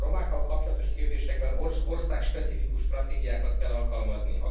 A romákkal kapcsolatos kérdésekben országspecifikus stratégiákat kell alkalmazni.